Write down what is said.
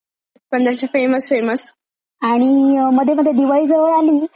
आणि मध्ये मध्ये दिवाळी जवळ आली की ते प्रशांत मोती साबण दामलेंची ऍड यायची बघ.